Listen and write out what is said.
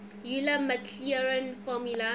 euler maclaurin formula